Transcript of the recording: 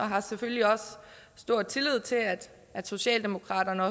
har selvfølgelig også stor tillid til at socialdemokratiet